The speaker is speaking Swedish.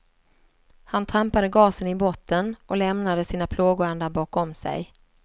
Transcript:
Han trampade gasen i botten och lämnade sina plågoandar bakom sig.